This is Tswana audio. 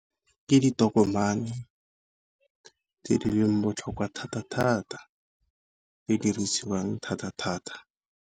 Ke ditokomane tse di leng botlhokwa thata thata, tse di dirisiwang thata thata.